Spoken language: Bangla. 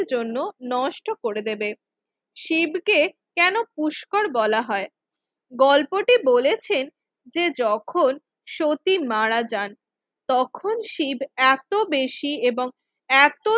এত জন্য নষ্ট করে দেবে শিব কে কেন পুস্কর বলা হয়? গল্পটি বলেছেন যে যখন সতী মারা যান তখন শিব এত বেশি এবং এত